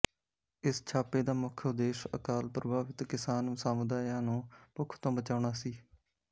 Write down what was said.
ਇਸ ਛਾਪੇ ਦਾ ਮੁੱਖ ਉਦੇਸ਼ ਅਕਾਲ ਪ੍ਰਭਾਵਿਤ ਕਿਸਾਨ ਸਮੁਦਾਇਆਂ ਨੂੰ ਭੁੱਖ ਤੋਂ ਬਚਾਉਣਾ ਸੀ